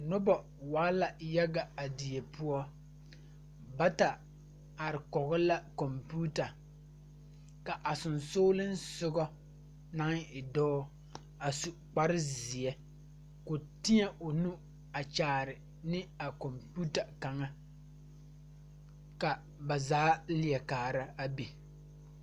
Noba waa la yaga a die poɔ bata are kɔge la kɔmpiita ka a soga naŋ e dɔɔ a su kpar zeɛ ka o teɛ o nu a kyaane a kɔmpiita kaŋa ka ba zaa leɛ kaara a be